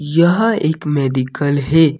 यह एक मेडिकल है।